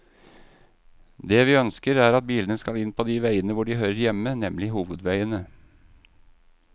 Det vi ønsker, er at bilene skal inn på de veiene hvor de hører hjemme, nemlig hovedveiene.